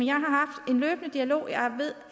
løbende dialog jeg ved